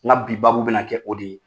Nka bi baabu bɛna kɛ o de ye.